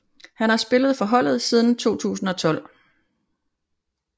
Han har spillet for holdet siden 2012